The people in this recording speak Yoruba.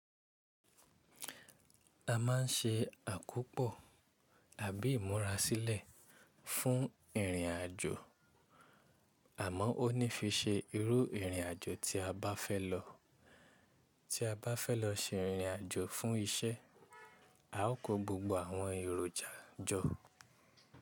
A ma n ṣe àkópò tàbí ìmúrasílè fún ìrìn àjò àmọ́ ó ní fi ṣe irú ìrìn àjò tí a bá fẹ́ lọ. Tí a bá fẹ́ lọ ṣe ìrìn àjò fún iṣẹ́, a ó ko gbogbo àwọn èròjà jọ.